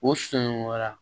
O sun wɛrɛ